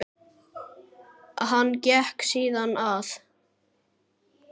Hann gekk síðan að